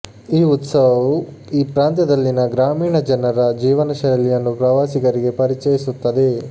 ಈ ಉತ್ಸವವು ಈ ಪ್ರಾಂತ್ಯದಲ್ಲಿನ ಗ್ರಾಮೀಣ ಜನರ ಜೀವನ ಶೈಲಿಯನ್ನು ಪ್ರವಾಸಿಗರಿಗೆ ಪರಿಚಯಿಸುತ್ತದೆ